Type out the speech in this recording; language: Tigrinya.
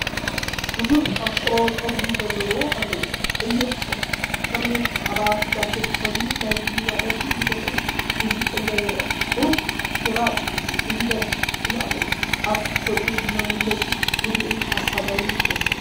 ብዙሕ ኣፍሮ ጸጉሪ ርእሲ ዘለዎ፡ ቀይሕ ተርትሌን ጻዕዳ ጃኬትን ተኸዲኑ ናይ ትግርኛ ደርፊ ዝደርፍ ሙዚቐኛ ይረአ። ቁሩብ ግራጭ/ ስይበት ጭሕሚ ኣለዎ። ኣብ ገጹ ዘሎ መግለጺ ህዱእን ሓሳባውን ይመስል።